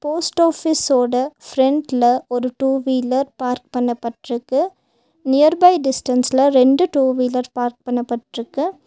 Post ஆபீஸ்ஸொட ஓட ஃப்ரண்ட்ல ஒரு டூ வீலர் பார்க் பண்ண பட்ருக்கு. நியர் பை டிஸ்டன்ஸ்ல ரெண்டு டூ வீலர் பார்க் பண்ண பட்ருக்கு.